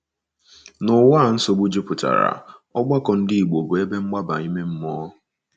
N’ụwa a nsogbu jupụtara, ọgbakọ Ndị Igbo bụ ebe mgbaba ime mmụọ.